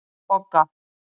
Bogga